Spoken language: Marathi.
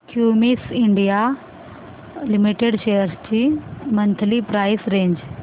क्युमिंस इंडिया लिमिटेड शेअर्स ची मंथली प्राइस रेंज